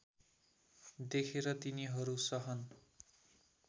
देखेर तिनीहरू सहन